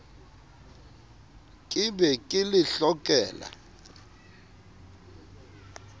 ke be ke le hlokela